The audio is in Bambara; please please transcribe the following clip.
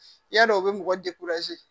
Yadɔ o bɛ mɔgɔ